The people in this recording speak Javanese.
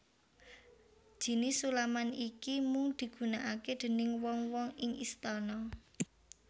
Jinis sulaman iki mung dugunakake déning wong wong ing istana